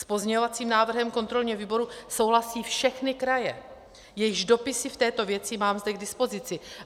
S pozměňovacím návrhem kontrolního výboru souhlasí všechny kraje, jejichž dopisy v této věci mám zde k dispozici.